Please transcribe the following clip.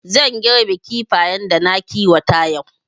Zan girbi Kifayen da na kiwata yau